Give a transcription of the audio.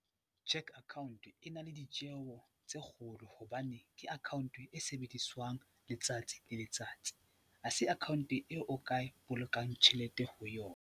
Cheque Account e na le ditjeho tse kgolo hobane ke account e sebediswang letsatsi le letsatsi, ha se account eo o ka bolokang tjhelete ho yona.